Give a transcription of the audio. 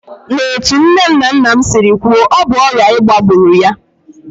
N'etu nne na nna m siri kwuo, ọ bụ ọrịa ịba gburu ya